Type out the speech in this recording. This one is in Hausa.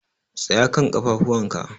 Tsaya kan ƙafafuwan ka!